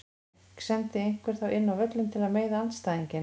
En sendi einhver þá inn á völlinn til að meiða andstæðinginn?